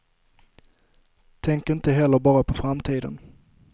Tänk inte heller bara på framtiden.